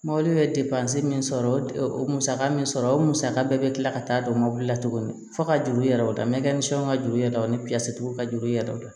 Mɔbiliw ye depansi min sɔrɔ o musaka min sɔrɔ o musaka bɛɛ bɛ kila ka taa don mɔbili la tuguni fo ka juru yɛrɛ o mɛn fɛnw ka juru yira o ni ka juru i yɛrɛ dɔn